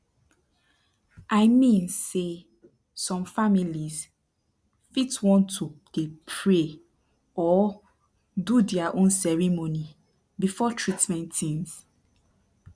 i mean say some families fit want to dey pray or do dia own ceremony before treatment tins